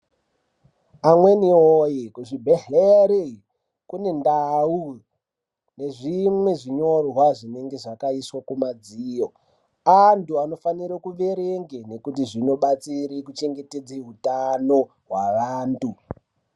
Amweni voye kuzvibhedhlera kune ndau yezvimwe zvinyorwa zvinenge zvakaiswa pamadziro. Antu anofanire kuerenga nekuti zvinobatsira kuchengetedza utano hweantu.